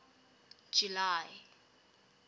july